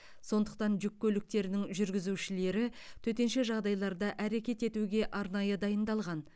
сондықтан жүк көліктерінің жүргізушілері төтенше жағдайларда әрекет етуге арнайы дайындалған